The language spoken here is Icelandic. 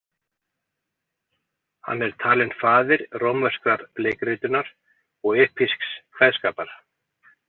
Hann er talinn faðir rómverskrar leikritunar og epísks kveðskapar.